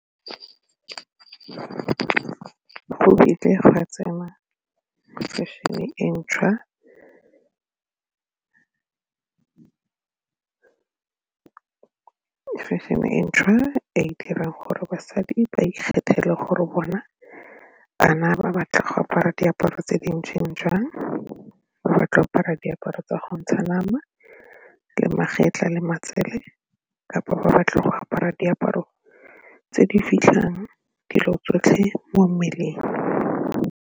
Go kile go a tsena fashion-e e ntšhwa fashion-e e ntšhwa e e dirang gore basadi ba ikgethele gore bona a na ba batla go apara diaparo tse di ntseng jang ba batla apara diaparo tsa go ntsha nama le magetlha le matsele kapa ba batla go apara diaparo tse di fitlhang dilo tsotlhe mo mmeleng?